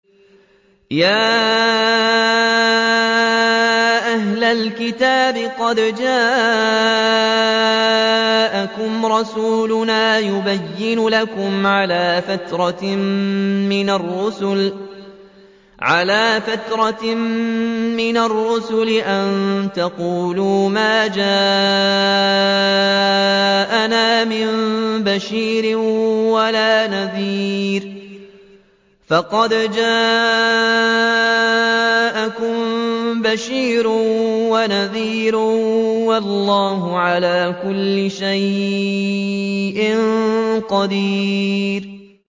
يَا أَهْلَ الْكِتَابِ قَدْ جَاءَكُمْ رَسُولُنَا يُبَيِّنُ لَكُمْ عَلَىٰ فَتْرَةٍ مِّنَ الرُّسُلِ أَن تَقُولُوا مَا جَاءَنَا مِن بَشِيرٍ وَلَا نَذِيرٍ ۖ فَقَدْ جَاءَكُم بَشِيرٌ وَنَذِيرٌ ۗ وَاللَّهُ عَلَىٰ كُلِّ شَيْءٍ قَدِيرٌ